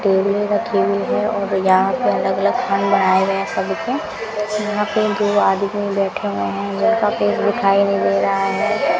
केले रखी हुई है और यहां पे अलग अलग आए हुए हैं सभी के यहां पे दो आदमी बैठे हुए हैं दिखाई नहीं दे रहा है।